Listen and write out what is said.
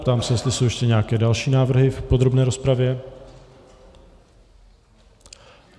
Ptám se, jestli jsou ještě nějaké další návrhy v podrobné rozpravě.